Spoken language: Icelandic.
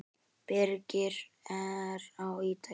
Birgir er á Ítalíu.